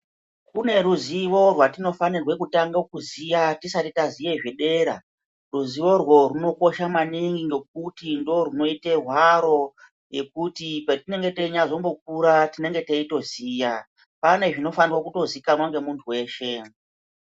Kune ruzivo rwatinofanire kutanga kuziya tisati taziye zvedera, ruzivorwo rwunokosha maningi ngokuti ndorunoite hwaro yekuti patinenge teinyazombokura tinenge teitoziya, pane zvinofanirwa kutozikanwa ngemuntu weshe.